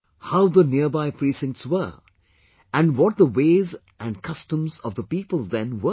How were the nearby precincts and what the ways and customs of the people then were